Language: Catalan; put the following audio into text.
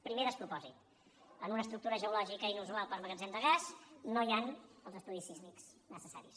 primer despropòsit en una estructura geològica inusual per a magatzem de gas no hi han els estudis sísmics necessaris